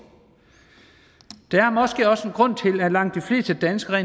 der er måske også en grund til at langt de fleste danskere